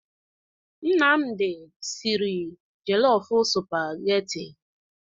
Nnamdi sịrị jelofụ sụpagheti.